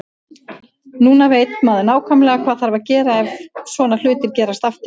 Núna veit maður nákvæmlega hvað þarf að gera ef svona hlutir gerast aftur.